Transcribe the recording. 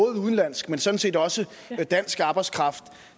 udenlandsk men sådan set også dansk arbejdskraft